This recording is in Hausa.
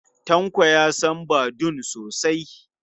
Tanko ya san Badun sosa.